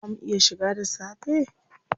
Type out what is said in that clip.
Zaa mu iya shiga da safe?